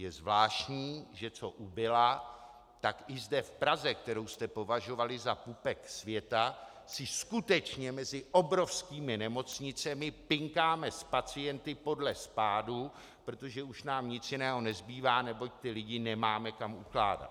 Je zvláštní, že co ubyla, tak i zde v Praze, kterou jste považovali za pupek světa, si skutečně mezi obrovskými nemocnicemi pinkáme s pacienty podle spádu, protože už nám nic jiného nezbývá, neboť ty lidi nemáme kam ukládat.